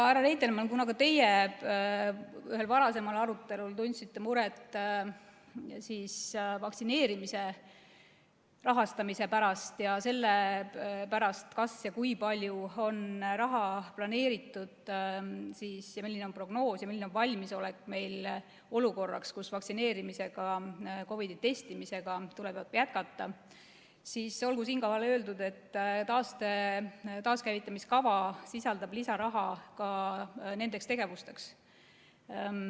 Härra Reitelmann, kuna ka teie ühel varasemal arutelul tundsite muret vaktsineerimise rahastamise pärast ja selle pärast, kas ja kui palju on raha planeeritud ning milline on meil prognoos ja valmisolek olukorraks, kus vaktsineerimisega ja COVID-i testimisega tuleb jätkata, siis olgu siinkohal öeldud, et taaskäivitamise kava sisaldab lisaraha ka nendeks tegevusteks.